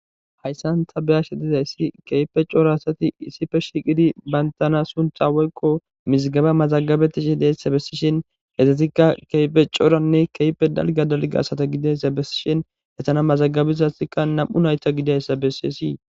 hayssan ta beyashe dizayssi keype coora asati issife shiiqidi bayntana suntha woykko misgaba mazagabetishi deyssa bessishen gesatikka keype cooranne keype dalgadalga asata gideyssa bessishen gestana mazagabei hatikka nam7u nayta gidayssa bessiyessii